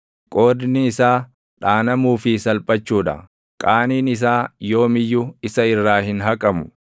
Qoodni isaa dhaanamuu fi salphachuu dha; qaaniin isaa yoom iyyuu isa irraa hin haqamu.